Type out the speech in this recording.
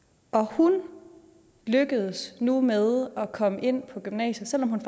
hun lykkedes nu med at komme ind på gymnasiet selv om hun